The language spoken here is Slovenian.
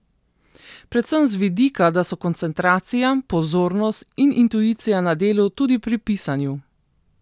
Predvsem z vidika, da so koncentracija, pozornost in intuicija na delu tudi pri pisanju.